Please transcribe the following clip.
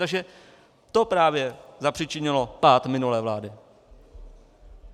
Takže to právě zapříčinilo pád minulé vlády.